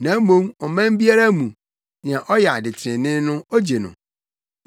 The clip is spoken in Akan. na mmom ɔman biara mu, nea ɔyɛ ade trenee no ogye no.